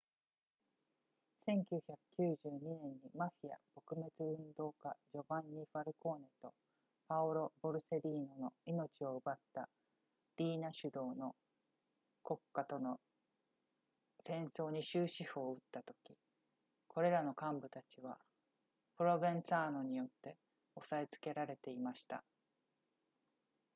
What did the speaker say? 「1992年にマフィア撲滅運動家ジョヴァンニ・ファルコーネとパオロ・ボルセリーノの命を奪ったリイナ主導の国家との戦争に終止符を打ったとき、これらの幹部たちはプロヴェンツァーノによって抑え付けられていました」